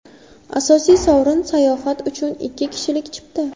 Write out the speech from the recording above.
Asosiy sovrin: sayohat uchun ikki kishilik chipta.